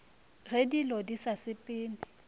ge dilo di sa sepele